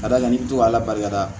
Ka d'a kan n'i bɛ to ala barika la